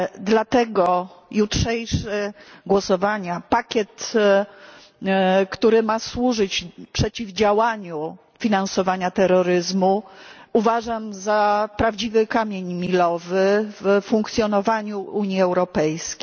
Dlatego jutrzejsze głosowania, pakiet, który ma służyć przeciwdziałaniu finansowaniu terroryzmu, uważam za prawdziwy kamień milowy w funkcjonowaniu Unii Europejskiej.